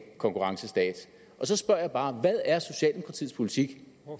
konkurrencestat så spørger jeg bare hvad er socialdemokratiets politik